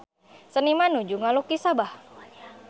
Seniman nuju ngalukis Sabah